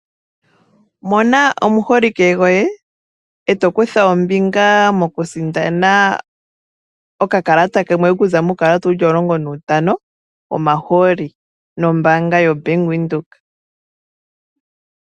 Mona omuholike goye e to kutha ombinga mo ku sindana okakalata kamwe okuza muukalata wuli omulongo nuutano, wo mahooli nombaanga yo Bank Windhoek